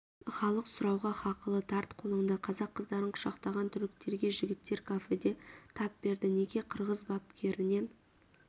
халық сұрауға хақылы тарт қолыңды қазақ қыздарын құшақтаған түріктерге жігіттер кафеде тап берді неге қырғыз бапкерінен